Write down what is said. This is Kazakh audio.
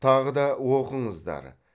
тағы да оқыңыздар